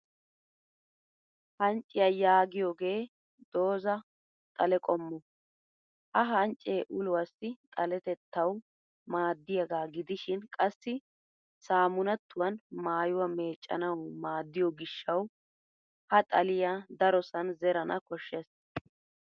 Hancciya yaagiyoohe doozza xale qommo. Ha hanccee uluwaassi xaletettawu maaddiyaagaa gidishin qassi sammunaattuwan maayuwaa meeccanawu maaddiyo gishshawu ha xaliya darosan zerana koshshes.